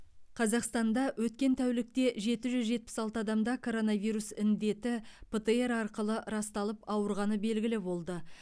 қазақстанда өткен тәулікте жеті жүз жетпіс алты адамда коронавирус індеті птр арқылы расталып ауырғаны белгілі болды